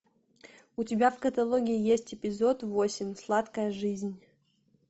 у тебя в каталоге есть эпизод восемь сладкая жизнь